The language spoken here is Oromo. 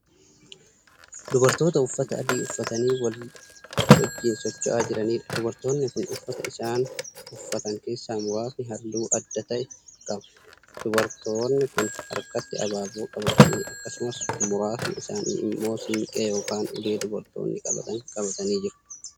Dubartoota uffata adii uffatanii wal wajjiin socho'aa jiraniidha. dubartoonni Kuni uffata isaan uffatan keessaa muraasni halluu adda ta'e qaba. dubartoonni Kuni harkatti abaaboo qabatanii akkasumas muraasni isaanii immoo siinqee yookaan ulee dubartoonni qabatan qabatanii jiru.